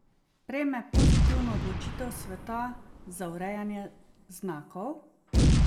Prejme pozitivno odločitev sveta za urejanje znakov?